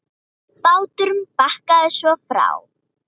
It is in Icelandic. Báturinn bakkaði svo frá.